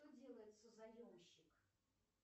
что делает созаемщик